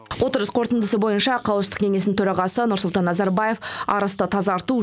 отырыс қорытындысы бойынша қауіпсіздік кеңесінің төрағасы нұрсұлтан назарбаев арысты тазарту